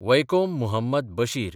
Vaikom Muhammad Bashir